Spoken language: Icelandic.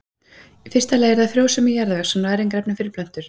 Í fyrsta lagi er það frjósemi jarðvegs og næringarefni fyrir plöntur.